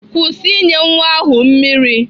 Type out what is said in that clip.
Kwụsị inye nwa ahụ mmiri!